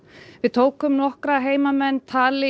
tókum nokkra heimamenn tali